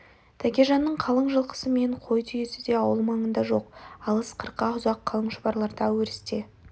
тәкежанның қалың жылқысы мен қой түйесі де ауыл маңында жоқ алыс қырқа ұзақ қалың шұбарларда өрісте